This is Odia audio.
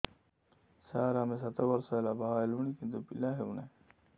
ସାର ଆମେ ସାତ ବର୍ଷ ହେଲା ବାହା ହେଲୁଣି କିନ୍ତୁ ପିଲା ହେଉନାହିଁ